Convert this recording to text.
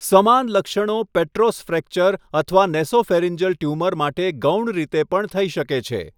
સમાન લક્ષણો petrous fracture અથવા નેસોફેરિંજલ ટ્યુમર માટે ગૌણ રીતે પણ થઈ શકે છે.